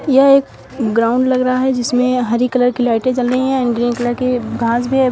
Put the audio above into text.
यह एक ग्राउंड लग रहा है जिसमें हरी कलर की लाइटें जल रही हैं एंड ग्रीन कलर की घास भी है।